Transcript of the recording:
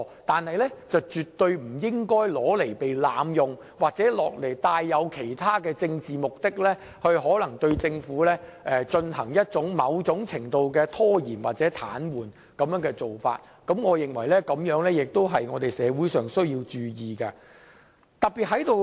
不過，這機制絕對不應被濫用，也不應附帶其他政治目的，試圖對政府的行事造成某種程度的拖延或癱瘓，我認為這是社會需要注意的。